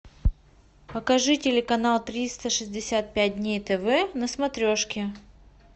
покажи телеканал триста шестьдесят пять дней тв на смотрешке